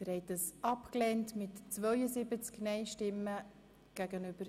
Sie haben Ziffer 2 abgelehnt.